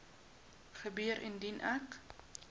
gebeur indien ek